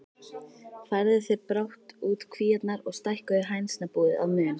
Færðu þeir brátt út kvíarnar og stækkuðu hænsnabúið að mun.